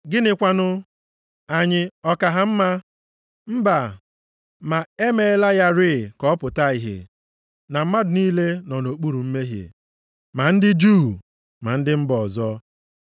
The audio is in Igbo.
Gịnị kwanụ? Anyị ọ ka ha mma? Mba, ma e meela ya rịị ka ọ pụta ìhè na mmadụ niile nọ nʼokpuru mmehie, ma ndị Juu ma ndị mba ọzọ.